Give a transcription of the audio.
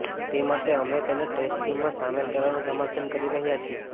તે માટે અમે તેને ટેસ્ટ ટીમમાં સામેલ કરવાનું સમર્થન કરી રહ્યાં છીએ